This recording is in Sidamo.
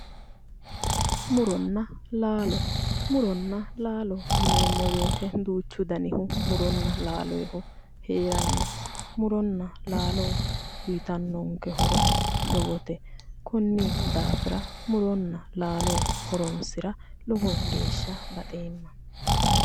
Muronna laalo. muronna laalo yineemmo woyiite duuchu danihu muronna laalooyiihu heeranno. muronna laalo uuyitannonke horo lowote konni daafira muronna laalo horoonsira lowo geeshsha baxeemma.